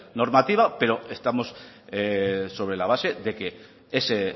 normativa pero estamos sobre la base de que ese